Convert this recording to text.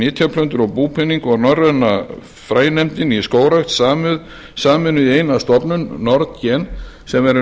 nytjaplöntur og búpening og norræna frænefndin í skógrækt sameinuð í eina stofnun nordgen sem verður